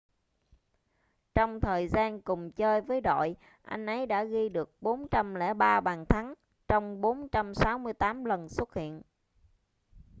trong thời gian cùng chơi với đội anh ấy đã ghi được 403 bàn thắng trong 468 lần xuất hiện